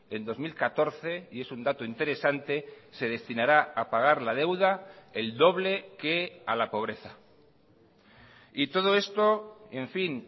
en dos mil catorce y es un dato interesante se destinará a pagar la deuda el doble que a la pobreza y todo esto en fin